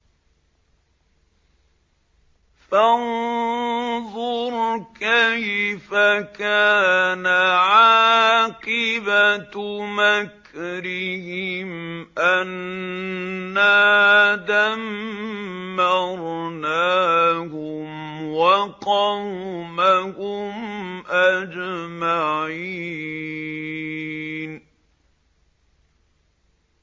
فَانظُرْ كَيْفَ كَانَ عَاقِبَةُ مَكْرِهِمْ أَنَّا دَمَّرْنَاهُمْ وَقَوْمَهُمْ أَجْمَعِينَ